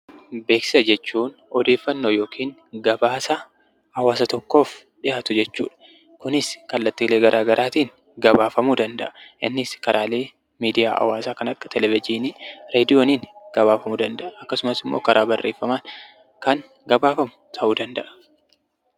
Beeksisa jechuun odeeffannoo yookiin gabaasa hawaasa tokkoof dhiyaatu jechuudha. Kunis kallattiilee garaagaraatiin gabaafamuu danda'a. Innis karaalee miidiyaa hawaasaa kan akka televizyiinii, raadiyooniin gabaafamuu danda'a. Akkasumas immoo karaa barreeffamaan kan gabaafamu ta'u danda'a.